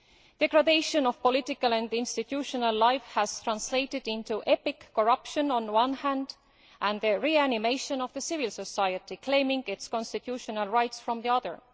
The degradation of political and institutional life has translated into epic corruption on the one hand and the reanimation of civil society, claiming its constitutional rights, on the other.